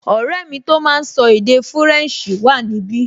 Ọ̀rẹ́ mi tó máa n sọ èdè fúrẹ̀nsì wà níbi